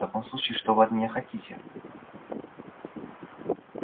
в таком случае что вы от меня хотите